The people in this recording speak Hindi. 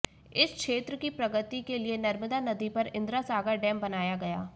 इस क्षेत्र की प्रगति के लिए नर्मदा नदी पर इंद्रा सागर डेम बनाया गया